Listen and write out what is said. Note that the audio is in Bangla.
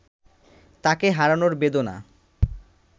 তাকে হারানোর বেদনা